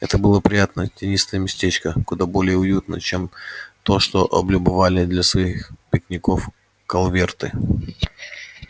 это было приятное тенистое местечко куда более уютное чем то что облюбовали для своих пикников колверты